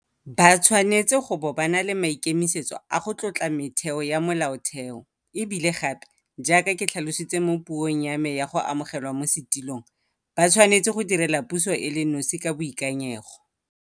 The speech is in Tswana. Ba tshwanetse go bo ba na le maikemisetso a go tlotla metheo ya Molaotheo, e bile gape, jaaka ke tlhalositse mo puong ya me ya go amogelwa mo setulong, ba tshwanetse go direla puso e le nosi ka boikanyego.